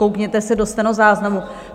Koukněte se do stenozáznamu.